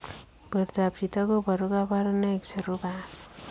Portoop chitoo kobaruu kabarunaik cherubei ak